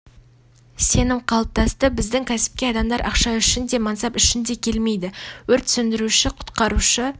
сенім қалыптасты біздің кәсіпке адамдар ақша үшін де мансап үшін де келмейді өрт сөндіруші құтқарушы